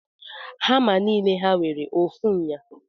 Hama nile ha nwere ofu nha?